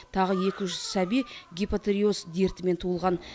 тағы екі жүз сәби гипотериоз дертімен туылған